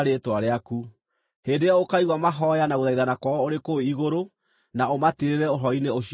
hĩndĩ ĩyo ũkaigua mahooya na gũthaithana kwao ũrĩ kũu igũrũ na ũmatirĩrĩre ũhoro-inĩ ũcio wao.